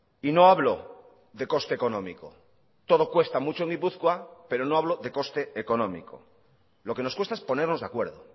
y no hablo de coste económico todo cuesta mucho en gipuzkoa pero no hablo de coste económico lo que nos cuesta es ponernos de acuerdo